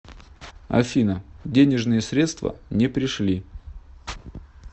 афина денежные средства не пришли